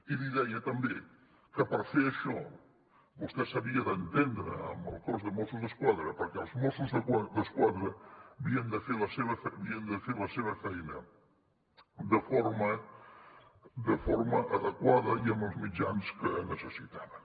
i li deia també que per fer això vostè s’havia d’entendre amb el cos de mossos d’esquadra perquè els mossos d’esquadra havien de fer la seva feina de forma adequada i amb els mitjans que necessitaven